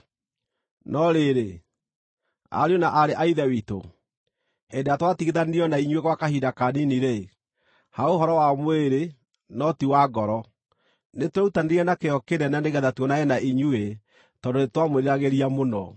No rĩrĩ, ariũ na aarĩ a Ithe witũ, hĩndĩ ĩrĩa twatigithanirio na inyuĩ gwa kahinda kanini-rĩ, (ha ũhoro wa mwĩrĩ, no ti wa ngoro), nĩtwerutanĩirie na kĩyo kĩnene nĩgeetha tuonane na inyuĩ tondũ nĩtwamwĩriragĩria mũno.